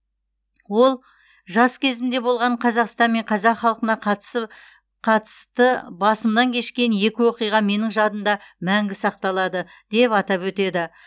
ол жас кезімде болған қазақстан мен қазақ халқына қатысы қатысты басымнан кешкен екі оқиға менің жадымда мәңгі сақталады деп атап өтеді